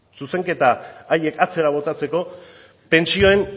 zuzenketa haiek atzera botatzeko pentsioen